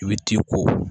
I bɛ t'i ko